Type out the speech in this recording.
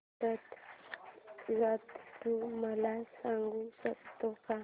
रथ जत्रा तू मला सांगू शकतो का